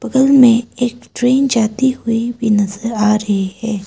बगल में एक ट्रेन जाती हुई भी नजर आ रही है।